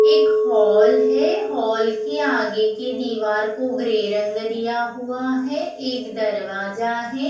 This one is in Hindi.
एक हॉल है हॉल के आगे के दिवार को ग्रे रंग दिया हुआ है एक दरवाज़ा है।